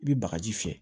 I bɛ bagaji fiyɛ